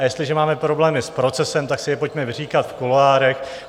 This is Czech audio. A jestliže máme problémy s procesem, tak si je pojďme vyříkat v kuloárech.